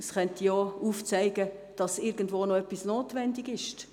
Es könnte auch aufgezeigt werden, dass irgendwo noch etwas notwendig ist.